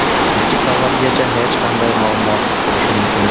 Ikki qavatgacha hech qanday muammosiz qurish mumkin.